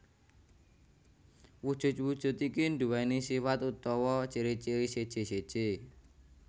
Wujud wujud iki duwéni sifat utawa ciri ciri seje seje